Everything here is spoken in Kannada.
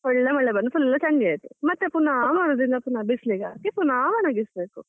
ಒಳ್ಳೆ ಮಳೆ ಬಂದು full ಚಂಡಿ ಆಯ್ತು, ಮತ್ತೆ ಪುನಾ ಮರುದಿನ ಬಿಸ್ಲಿಗೆ ಹಾಕಿ ಪುನಾ ಒಣಗಿಸ್ಬೇಕು.